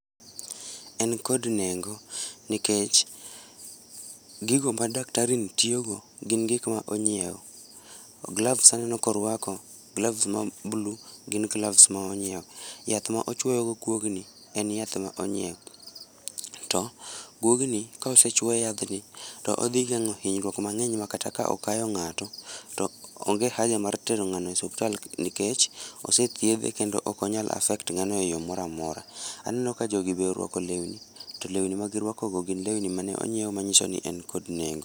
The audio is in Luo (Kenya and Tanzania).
En kod nengo nikech gigo ma daktari ni tiyo go gin gik monyiew. Gloves aneno ka orwako, gloves ma blue, gin gloves monyiew, yath mochuoyo go guogni en yath ma onyiew. To guogni kosechuo yadhni to odhi gengo hinyruok mangeny makata ka okayo ng'ato to onge haja mar tere e osiptal nikech osethiedhe kendo ok onyal affect ng'ano e yoo moro amora. Aneno ka jogi be orwako lewni to lewni ma girwako go gin lewni mane onyiew manyiso ni en kod nengo